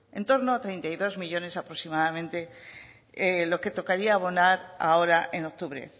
en torno a treinta y dos millónes aproximadamente lo que tocaría abonar ahora en octubre